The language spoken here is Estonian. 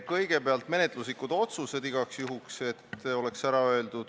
Kõigepealt loen igaks juhuks ette menetluslikud otsused.